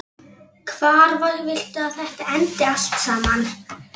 Hvar viltu að þetta endi allt saman?